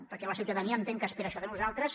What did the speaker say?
perquè la ciutadania entenc que espera això de nosaltres